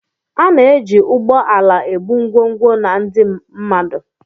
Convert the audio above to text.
A na-eji ụgbọ ala ebu ngwongwo na ndị mmadụ.